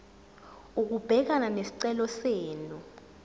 ukubhekana nesicelo senu